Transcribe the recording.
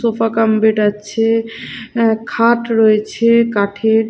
Sofa cum bed আছে খাট রয়েছে কাঠের।